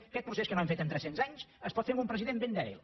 aquest procés que no hem fet en tres cents anys es pot fer amb un president ben dèbil